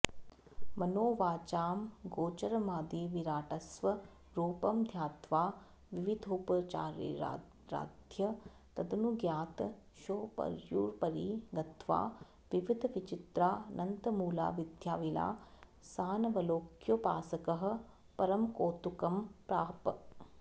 मनोवाचामगोचरमादिविराट्स्वरूपं ध्यात्वा विविधोपचारैराराध्य तदनुज्ञातश्चोपर्युपरि गत्वा विविधविचित्रानन्तमूलाविद्याविलासानवलोक्योपासकः परमकौतुकं प्राप